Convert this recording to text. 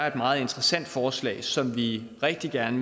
et meget interessant forslag som vi rigtig gerne